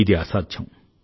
ఇది అసాధ్యం